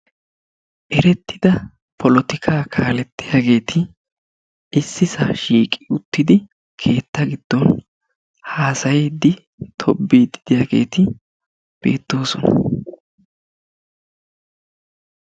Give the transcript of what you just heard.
Erettida polotikaa kaalettiyageeti issisaa shiiqi uttidi keetta giddon haasayiiddi tobbiidi de"iyaageeti beettoosona.